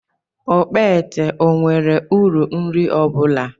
Okpete ọ nwere uru nri ọ bụla?